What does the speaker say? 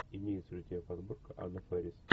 имеется ли у тебя подборка анна фэрис